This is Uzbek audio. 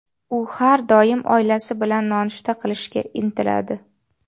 U har doim oilasi bilan nonushta qilishga intiladi.